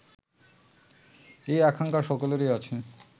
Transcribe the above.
এই আকাঙ্খা সকলেরই আছে